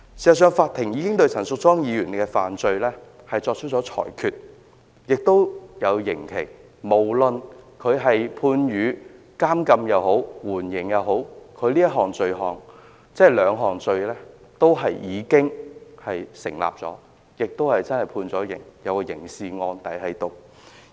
事實上，法庭已經對陳淑莊議員的罪行作出裁決，並判下刑期，無論她是被判監禁或緩刑，她這兩項罪也是成立的，而且真的已經被判刑，有刑事案底。